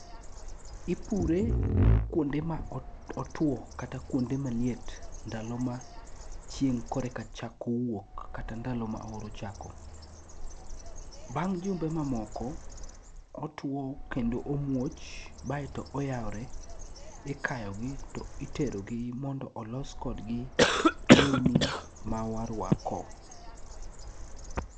Ipure kwonde ma otuwo kata kwonde maliet ndalo ma chieng' koreka chako wuok kata ndalo ma oro chako. Bang' jumbe mamoko, otuwo kendo omuoch baeto oyawre ,ikayogi to iterogi mondo olos kodgi lewni ma warwako.